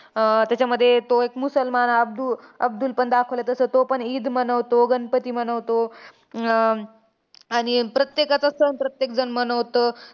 आह त्याच्यामध्ये तो एक मुसलमान अब्द अब्दुल पण दाखवलाय. जसं तोपण ईद मनवतो, गणपती मनवतो. अं आणि प्रत्येकाचा सण प्रत्येकजण मनवतो.